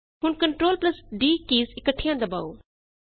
ਹੁਣ Ctrl d keys ਇਕੱਠੀਆਂ ਦਬਾਓ